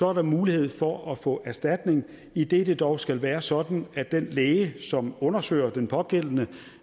er der mulighed for at få erstatning idet det dog skal være sådan at den læge som undersøger den pågældende